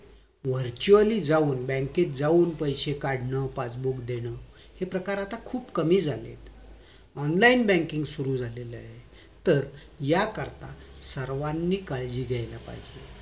virtually जाऊन बँकेत जाऊन पॆसे काढणं पासबुक देणं हे प्रकार आता खूप कमी झालेत online banking सुरु झालेलं आहे तर याकरिता सर्वानी काळजी घ्यायला पाहिजेत